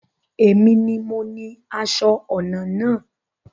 Èmi ni mo ni aṣọ ọnà náà